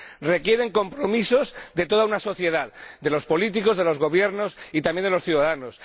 Requieren compromisos de toda una sociedad de los políticos, de los gobiernos y también de los ciudadanos.